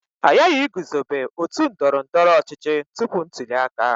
A ghaghị iguzobe otu ndọrọ ndọrọ ọchịchị tupu ntuli aka.